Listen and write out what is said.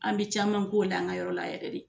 An bi caman k'o la an ka yɔrɔ la yɛrɛ de.